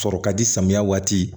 Sɔrɔ ka di samiya waati